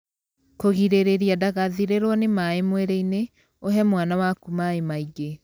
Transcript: Kũgirĩrĩria ndagathirĩrwo nĩ maĩ mwĩrĩ-inĩ, ũhe mwana waku maĩ maingĩ.